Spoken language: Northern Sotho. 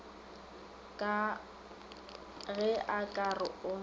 ge a ka re o